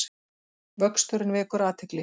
Vöxturinn vekur athygli